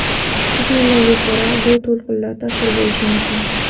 Taxminlarga ko‘ra, bu to‘lqinlar ta’sir bo‘lishi mumkin.